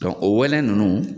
o wɛlɛ ninnu